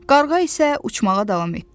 Qarğa isə uçmağa davam etdi.